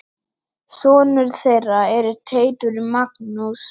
Sonur þeirra er Teitur Magnús.